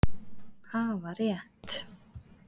Hafa rétt